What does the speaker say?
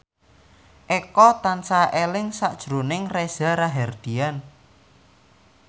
Eko tansah eling sakjroning Reza Rahardian